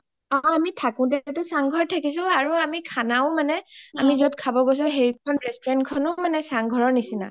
অ আমি থাকোতে চাং ঘৰত থাকিছো আৰু আমি খানাও মানে আমি য’ত খব গৈছো সেইখন restaurant খনো মানে চাং ঘৰৰ নিচিনা